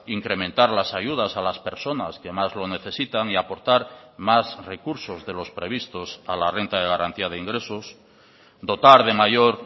incrementar las ayudas a las personas que más lo necesitan y aportar más recursos de los previstos a la renta de garantía de ingresos dotar de mayor